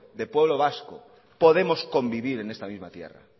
de pueblo vasco podemos convivir en esta misma tierra